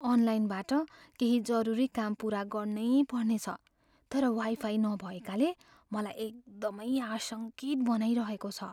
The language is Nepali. अनलाइनबाट केही जरुरी काम पुरा गर्नैपर्ने छ, तर वाइफाई नभएकाले मलाई एकदमै आशङ्कित बनाइरहेको छ।